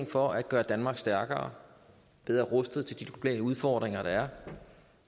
for at gøre danmark stærkere og bedre rustet til de globale udfordringer der er